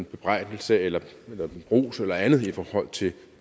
bebrejdelse eller ros eller andet i forhold til